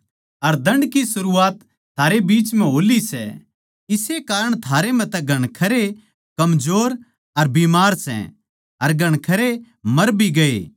अर दण्ड की सरूआत थारे बीच हो ली सै इस्से कारण थारै म्ह तै घणखरे माड़े अर बीमार सै अर घणखरे मर भी गये